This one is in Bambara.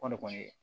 Kɔɔri kɔni